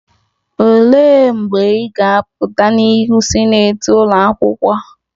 Olee mgbe ị ga-apụta n'ihu sinetị ụlọ akwụkwọ?..